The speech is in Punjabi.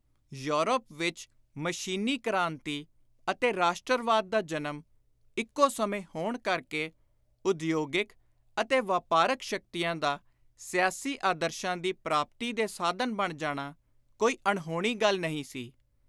ਯੂਰਪ ਵਿਚ ਮਸ਼ੀਨੀ ਕ੍ਰਾਂਤੀ ਅਤੇ ਰਾਸ਼ਟਰਵਾਦ ਦਾ ਜਨਮ ਇਕੋ ਸਮੇਂ ਹੋਣ ਕਰਕੇ ਉਦਯੋਗਿਕ ਅਤੇ ਵਾਪਾਰਕ ਸ਼ਕਤੀਆਂ ਦਾ ਸਿਆਸੀ ਆਦਰਸ਼ਾਂ ਦੀ ਪ੍ਰਾਪਤੀ ਦੇ ਸਾਧਨ ਬਣ ਜਾਣਾ ਕੋਈ ਅਣਹੋਣੀ ਗੱਲ ਨਹੀਂ ਸੀ।